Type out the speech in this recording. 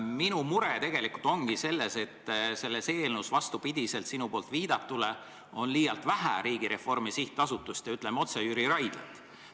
Minu mure tegelikult ongi selles, et selles eelnõus, vastupidi sinu viidatule, on liialt vähe Riigireformi SA-d ja, ütleme otse, Jüri Raidlat.